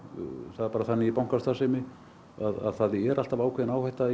það er bara þannig í bankastarfsemi að það er alltaf ákveðin áhætta